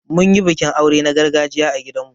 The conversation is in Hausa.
Mun yi bikin aure na gargajiya a gidan mu.